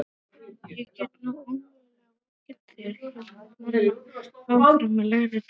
Ég get nú ómögulega vorkennt þér hélt mamma áfram í lægri tón.